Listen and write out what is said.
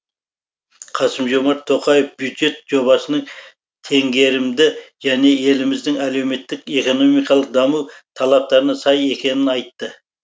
қасым жомарт тоқаев бюджет жобасының теңгерімді және еліміздің әлеуметтік экономикалық даму талаптарына сай екенін айтты